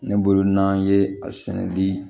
Ne bolo n'an ye a sɛnɛn di